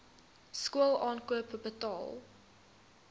skool aankoop betaal